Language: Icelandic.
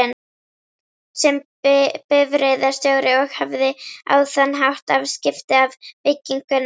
sem bifreiðarstjóri, og hafði á þann hátt afskipti af byggingunni.